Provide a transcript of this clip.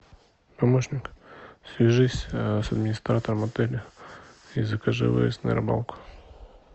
помощник свяжись с администратором отеля и закажи выезд на рыбалку